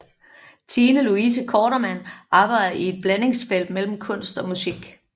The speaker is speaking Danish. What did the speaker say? Tine Louise Kortermand arbejder i et blandingsfelt mellem kunst og musik